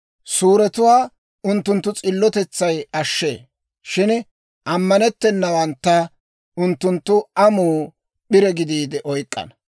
Suuretuwaa unttunttu s'illotetsay ashshee; shin ammanettennawantta unttunttu amuu p'ire gidiide oyk'k'ana.